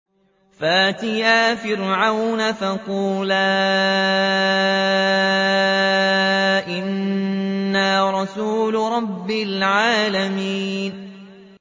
فَأْتِيَا فِرْعَوْنَ فَقُولَا إِنَّا رَسُولُ رَبِّ الْعَالَمِينَ